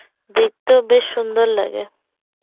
দেখতেও বেশ সুন্দর লাগে